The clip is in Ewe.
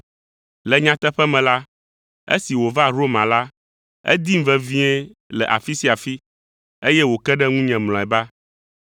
Le nyateƒe me la, esi wòva Roma la, edim vevie le afi sia afi, eye wòke ɖe ŋunye mlɔeba.